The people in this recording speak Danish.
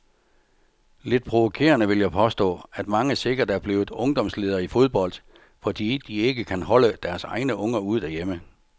Lidt provokerende vil jeg påstå, at mange sikkert er blevet ungdomsledere i fodbold, fordi de ikke kan holde deres egne unger ud derhjemme.